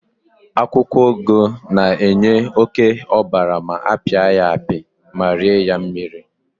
akwukwo ugu na-enye oke obara ma apiapia ya ma rie ya mmiri